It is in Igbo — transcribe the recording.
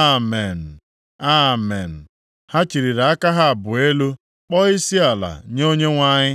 “Amen! Amen!” Ha chịlịri aka ha abụọ elu, kpọọ isiala nye Onyenwe anyị.